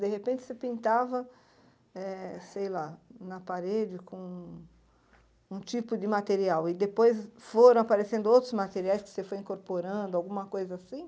De repente você pintava, eh sei lá, na parede com com um tipo de material e depois foram aparecendo outros materiais que você foi incorporando, alguma coisa assim?